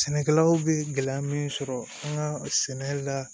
Sɛnɛkɛlaw bɛ gɛlɛya min sɔrɔ an ka sɛnɛ la